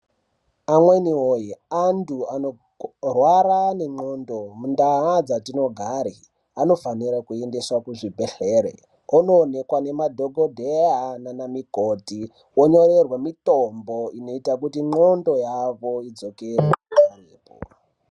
Amweni woye antu anorwara nenxondo mundaa dzatinogare anofanire kuende kuzvibhedhlera onoonekwa nemadhokodheya nanamukoti onyorerwe mitombo inoita kuti nzxondo yavo idzokere parepo.